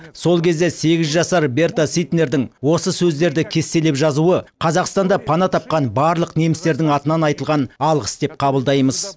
сол кезде сегіз жасар берте ситнердің осы сөздерді кестелеп жазуы қазақстанда пана тапқан барлық немістердің атынан айтылған алғыс деп қабылдаймыз